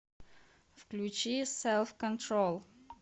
включи селф контрол